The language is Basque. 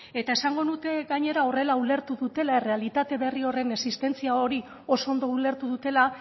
eta esango nuke gainera horrela ulertu dutela errealitate berri horren existentzia hori oso ondo ulertu dutela